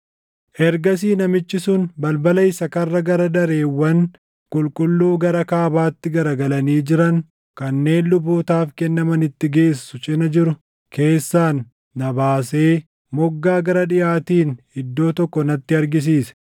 Ergasii namichi sun balbala isa karra gara dareewwan qulqulluu gara kaabaatti garagalanii jiran kanneen lubootaaf kennamanitti geessu cina jiru keessaan na baasee moggaa gara dhiʼaatiin iddoo tokko natti argisiise.